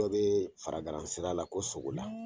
Dɔ be faragaran sira la ko sogola